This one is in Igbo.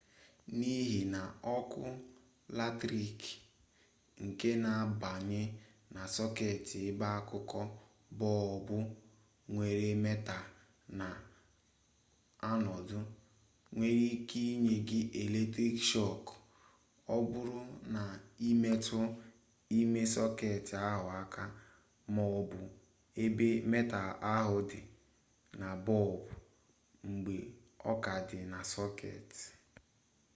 n'ihi na oku latrik nke na-abanye na soket ebe akuku bolbu nwere metal na anodu nwere ike inye gi eletrik shok o buru na imetu ime soket ahu aka ma o bu ebe metal ahu di na bolbu mgbe o ka di na soket